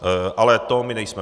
Ale to my nejsme.